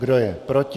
Kdo je proti?